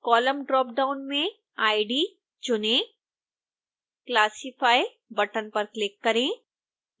column dropdown में id चुनें classify button पर क्लिक करें